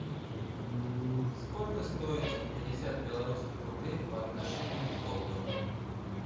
сколько стоит сто пятьдесят белорусских рублей по отношению к доллару